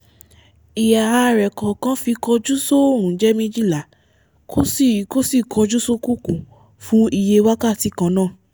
ihà a rẹ̀ kọ̀ọ̀kan fi kọjú sóòrùn jẹ́ méjìlá kó sì kó sì kọ́ju sókùnkùn fú iye wákàtí kan náà